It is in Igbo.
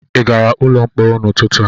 Ị gara n'ụlọ mkpọrọ n'ụtụtụ?